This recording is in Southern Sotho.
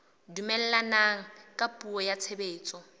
dumellana ka puo ya tshebetso